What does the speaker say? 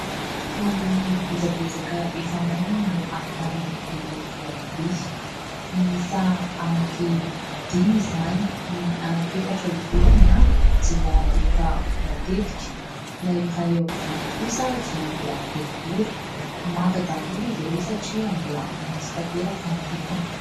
Eo ambony bozabozaka efa maina no ahitana ireto voatabia, miisa anankidimy izany : ny anankiefatra eo ivelany dia efa voatetika, ilay iray eo ampovoany kosa dia mbola boribory. Manta daholo izy ireo satria mbola maitso tanteraka ny lokony.